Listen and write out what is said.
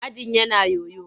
Ajin yana yoyo.